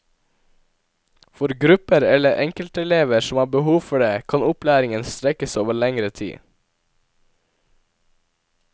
For grupper eller enkeltelever som har behov for det, kan opplæringen strekkes over lengre tid.